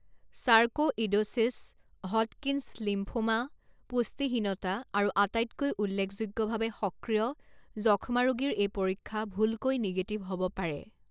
Sarcoidosis, Hodgkin's lymphoma, পুষ্টিহীনতা আৰু আটাইতকৈ উল্লেখযোগ্যভাৱে সক্ৰিয় যক্ষ্মা ৰোগীৰ এই পৰীক্ষা ভুলকৈ নেগেটিভ হ'ব পাৰে।